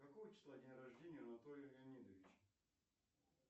какого числа день рождения у анатолия леонидовича